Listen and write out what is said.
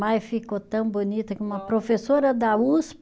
Mas ficou tão bonita que uma professora da Us